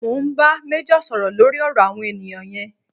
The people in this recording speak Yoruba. Mo ń bá méjọ̀ sọ̀rọ̀ lórí ọ̀rọ̀ àwọn ènìyàn yẹn